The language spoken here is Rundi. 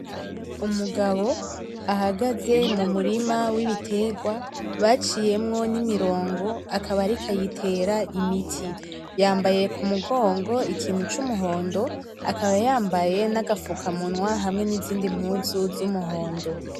Umugabo ahagaze mu murima w'ibiterwa baciyemwo n'imirongo, akaba ariko ayitera imiti. Yambaye ku mugongo ikintu c'umuhondo, akaba yambaye n'agapfukamunwa hamwe n'izindi mpuzu z'umuhondo.